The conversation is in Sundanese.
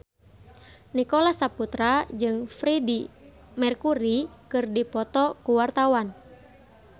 Nicholas Saputra jeung Freedie Mercury keur dipoto ku wartawan